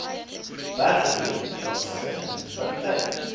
bergrivier plaaslike munisipaliteit